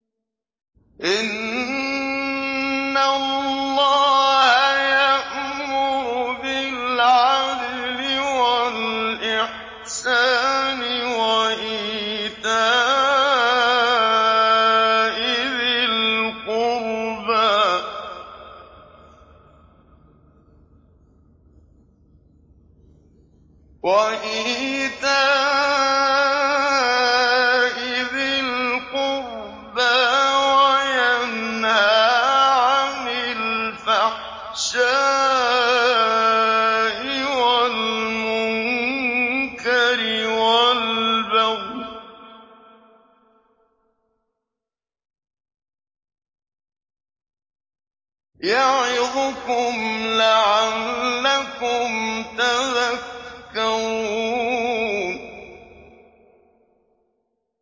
۞ إِنَّ اللَّهَ يَأْمُرُ بِالْعَدْلِ وَالْإِحْسَانِ وَإِيتَاءِ ذِي الْقُرْبَىٰ وَيَنْهَىٰ عَنِ الْفَحْشَاءِ وَالْمُنكَرِ وَالْبَغْيِ ۚ يَعِظُكُمْ لَعَلَّكُمْ تَذَكَّرُونَ